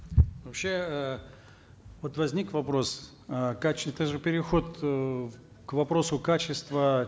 вообще э вот возник вопрос э это же переход э к вопросу качества